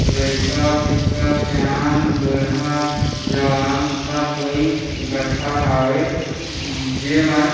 लइका पिचका सियान बूढ़ा जवान सब कोई इक्क्ठ्ठा हावे जे मन--